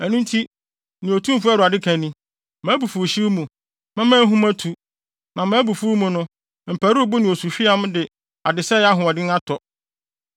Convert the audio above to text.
“Ɛno nti, nea Otumfo Awurade ka ni: ‘Mʼabufuwhyew mu, mɛma ahum atu, na mʼabufuw mu no, mparuwbo ne osuhweam de adesɛe ahoɔden atɔ.